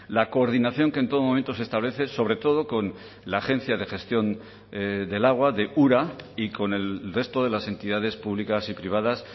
la coordinación que en todo momento se establece sobre todo con la agencia de gestión del agua de ura y con el resto de las entidades públicas y privadas